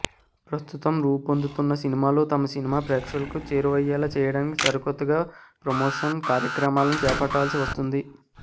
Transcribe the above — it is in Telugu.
ప్రస్తుతం రూపొందుతున్న సినిమాలు తమ సినిమాని ప్రేక్షకులకి చేరువయ్యేలా చేయడానికి సరికొత్తగా ప్రమోషన్ కార్యక్రమాలని చేపట్టాల్సి వస్తుంది